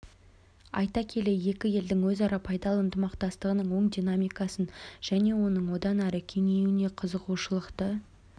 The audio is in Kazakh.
айта келе екі елдің өзара пайдалы ынтымақтастығының оң динамикасын және оның одан әрі кеңеюіне қызығушылықты